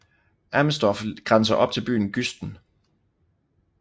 Amesdorf grænser op til byen Güsten